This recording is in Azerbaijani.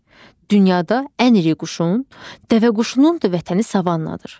Dünyada ən iri quşun, dəvəquşunun da vətəni savannadır.